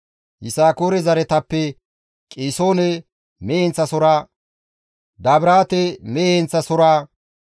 Yisakoore zaretappe Qisoone mehe heenththasohora, Dabiraate mehe heenththasohora,